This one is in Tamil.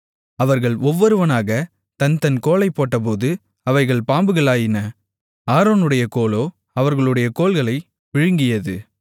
அவர்கள் ஒவ்வொருவனாகத் தன் தன் கோலைப் போட்டபோது அவைகள் பாம்புகளாயின ஆரோனுடைய கோலோ அவர்களுடைய கோல்களை விழுங்கியது